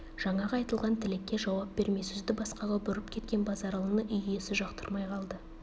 жаңағы айтылған тілекке жауап бермей сөзді басқаға бұрып кеткен базаралыны үй иесі жақтырмай қалды